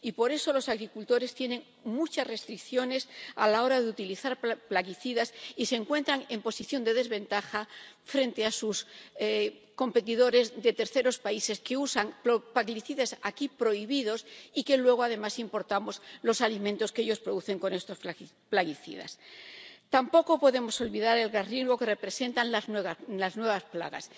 Y, por eso, los agricultores tienen muchas restricciones a la hora de utilizar plaguicidas y se encuentran en posición de desventaja frente a sus competidores de terceros países, que usan plaguicidas aquí prohibidos y luego, además, importamos los alimentos que ellos producen con estos plaguicidas. Tampoco podemos olvidar el gran riesgo que representan las nuevas plagas.